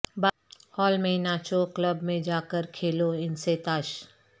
hall میں ناچو club میں جا کے کھیلو ان سے تاش